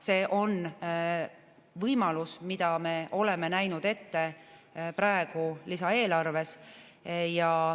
See on võimalus, mida me oleme näinud ette praegu lisaeelarves.